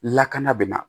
Lakana bɛ na